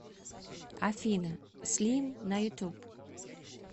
афина слим на ютуб